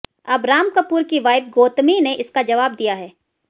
अब राम कपूर की वाइफ गौतमी ने इसका जवाब दिया है